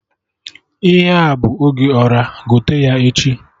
Ihe a bụ oge Ọra, gote ya echi